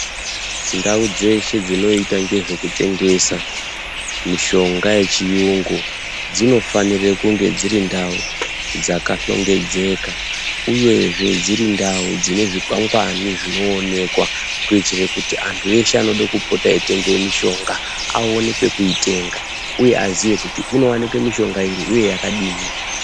Ndau dzeshe dzinoita ngezvekutengesa mishonga yechiyungu dzinofanire kunge dzirindau dzakahlongedzeka uyezve dzirindau dzinezvikwangwani zvinoonekwa. Kuitire kuti antu eshe anode kupota eitanga mishonga aone kwekuitenga uye aziye kuti kunowanikwe mishonga iri uye yakadini